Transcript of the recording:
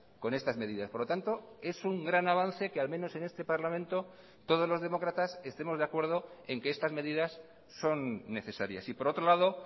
con estás medidas por lo tanto es un gran avance que al menos en este parlamento todos los demócratas estemosde acuerdo en que estas medidas son necesarias y por otro lado